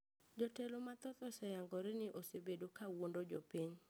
Jotelo mathoth oseyangore ni osebedo kawuondo jopiny